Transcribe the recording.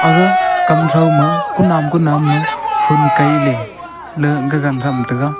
aga kaw throuma kunam kunam ma kaileley gagan tham taiga.